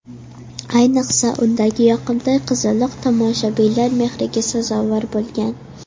Ayniqsa, undagi yoqimtoy qizaloq tomoshabinlar mehriga sazovor bo‘lgan.